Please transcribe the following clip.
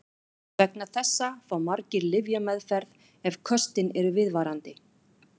Vegna þessa fá margir lyfjameðferð ef köstin eru viðvarandi.